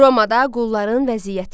Romada qulların vəziyyəti.